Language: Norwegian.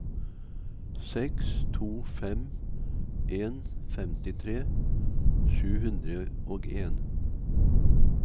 seks to fem en femtitre sju hundre og en